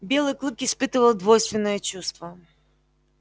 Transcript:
белый клык испытывал двойственное чувство